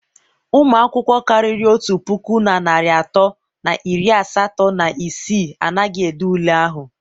ụmụ akwụkwọ karịrị otu puku na narị atọ na iri asatọ na isii anaghị ede ule ahụ.